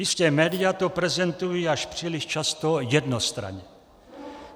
Jistě, média to prezentují až příliš často jednostranně.